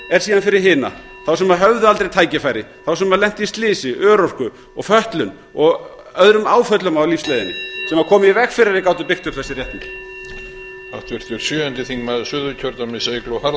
er síðan fyrir hina þá sem höfðu aldrei tækifæri þá sem lentu í slysi örorku og fötlun og öðrum áföllum á lífsleiðinni sem komu í veg fyrir að þeir gætu byggt upp þessi réttindi